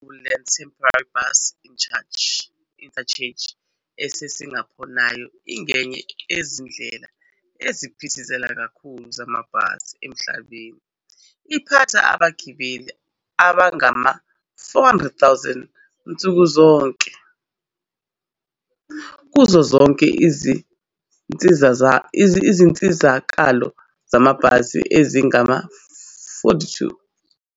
I- Woodlands Temporary Bus Interchange eSingapore nayo ingenye yezindlela eziphithizela kakhulu zamabhasi emhlabeni, iphatha abagibeli abangama-400,000 nsuku zonke kuzo zonke izinsizakalo zamabhasi ezingama-42.